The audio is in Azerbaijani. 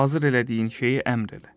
Hazır elədiyin şeyi əmr elə.